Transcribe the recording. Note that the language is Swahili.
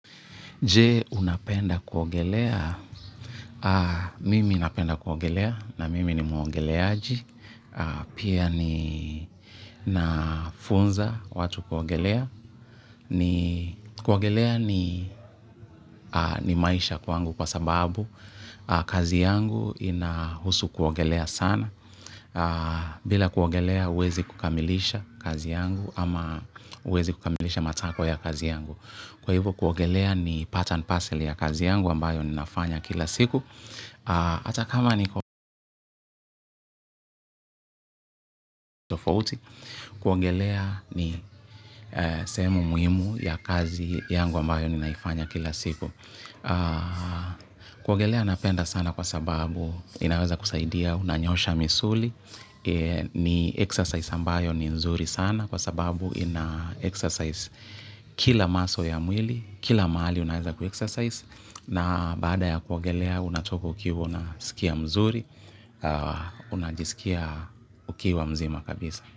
Je unapenda kuogelea, mimi napenda kuogelea na mimi ni muogeleaji, pia ni nafunza watu kuogelea, kuogelea ni ni maisha kwangu kwa sababu kazi yangu inahusu kuogelea sana, bila kuogelea huwezi kukamilisha kazi yangu ama huwezi kukamilisha matakwa ya kazi yangu. Kwa hivo kuogelea ni part and parcel ya kazi yangu ambayo ninafanya kila siku hata kama niko tofauti kuogelea ni sehemu muhimu ya kazi yangu ambayo ninaifanya kila siku. Kuogelea napenda sana kwa sababu inaweza kusaidia unanyoosha misuli. Ni exercise ambayo ni nzuri sana kwa sababu ina exercise kila muscle ya mwili. Kila mahali unaeza kuexercise na baada ya kuogelea unatoko ukiwa una sikia mzuri, unajisikia ukiwa mzima kabisa.